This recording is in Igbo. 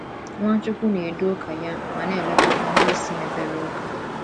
Nwachukwu na - edu ụka ya ma na - elekọta ndị isi mepere ụka